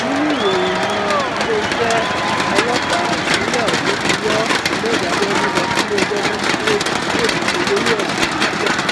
nínú ìròyìn miín iléeṣẹ ọlọpàá ìpínlẹ ọsùn ti wọ hammed abiodun lọ síléẹjọ májísrèétì ìlú ọṣọgbó lórí ẹsùn olè jíjà